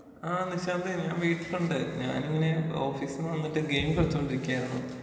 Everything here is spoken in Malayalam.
ആഹ് നിശാന്തേ ഞാൻ വീട്ടിലുണ്ട്. ഞാനിങ്ങനെ ഓഫീസിന്ന് വന്നിട്ട് ഗെയിം കളിച്ചോണ്ടിരിക്കുവരായിരുന്നു.